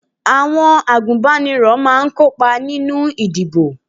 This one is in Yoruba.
Àwọn agunbaniro máa ń kópa nínú ìdìbò